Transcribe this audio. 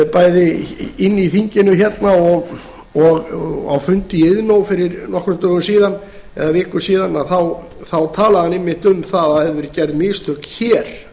bæði inni í þinginu hérna og á fundi í iðnó fyrir nokkrum dögum síðan eða viku síðan talaði hann einmitt um að það hefðu verið gerð mistök hér